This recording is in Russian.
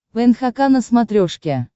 нхк на смотрешке